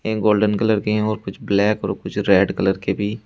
एक golden colour के है और कुछ ब्लैक और कुछ रेड कलर की भी।